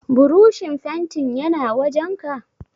Burushin fentin yana wajenka?